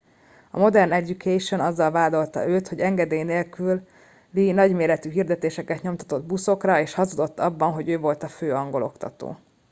a modern education azzal vádolta őt hogy engedély nélküli nagyméretű hirdetéseket nyomtatott buszokra és hazudott abban hogy ő volt a fő angol oktató